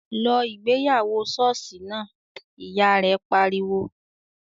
"Lọ ìgbéyàwó ṣọ́ọ̀ṣì náà!", Ìyá rẹ̀ pariwo